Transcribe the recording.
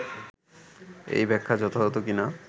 এই ব্যাখ্যা যথাযথ কি না